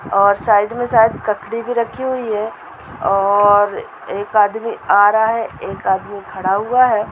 और साइड में शायद ककड़ी भी रखी हुई है और एक आदमी आ रहा है एक आदमी खड़ा हुआ है।